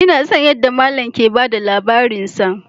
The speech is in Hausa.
Ina son yadda mallam yake ba da labarinsa